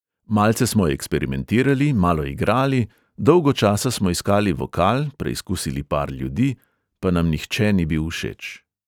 Malce smo eksperimentirali, malo igrali, dolgo časa smo iskali vokal, preizkusili par ljudi, pa nam nihče ni bil všeč ...